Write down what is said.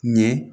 Ɲɛ